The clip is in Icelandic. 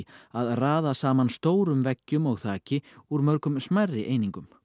að raða saman stórum veggjum og þaki úr mörgum smærri einingum